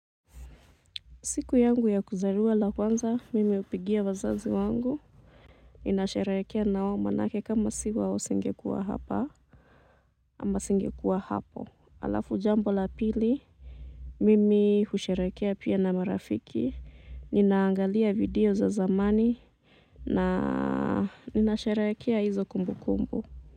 Siku yangu ya kuzarua la kwanza, mimi hupigia wazazi wangu. Ninasherekea nawo manake kama siwa nisingekuwa hapa, ama singekuwa hapo. Halafu jambo la pili, mimi husherekea pia na marafiki. Ninaangalia video za zamani, na nina sheherekea hizo kumbukumbu.